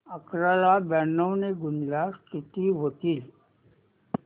अकरा ला ब्याण्णव ने गुणल्यास किती होतील